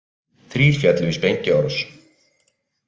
Þrír féllu í sprengjuárás